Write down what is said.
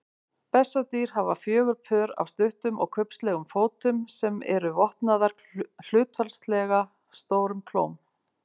Bessadýr hafa fjögur pör af stuttum og kubbslegum fótum sem eru vopnaðir hlutfallslega stórum klóm.